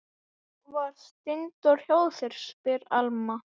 Gerði allt aftur eins og það átti að vera.